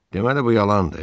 Deməli bu yalandır.